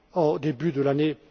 au début de l'année